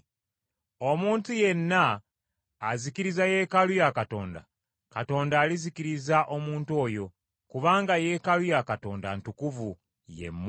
Omuntu yenna azikiriza Yeekaalu ya Katonda, Katonda alizikiriza omuntu oyo; kubanga Yeekaalu ya Katonda ntukuvu, ye mmwe.